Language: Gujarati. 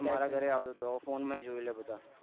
મારા ઘરે આવતું હતું હવે ફોન માં એ જોઈ લે બધા